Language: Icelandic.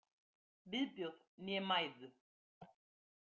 Viðbjóð né mæðu.